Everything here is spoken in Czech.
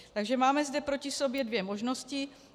Takže máme zde proti sobě dvě možnosti.